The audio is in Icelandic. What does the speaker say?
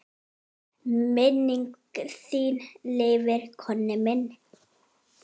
Minning þín lifir, Konni minn.